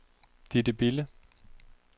Ditte Bille